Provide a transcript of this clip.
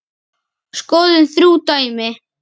Skoðum þrjú dæmi